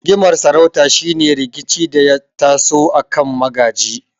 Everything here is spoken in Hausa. Rigimar sarauta shine rikici da ya taso akan magaji.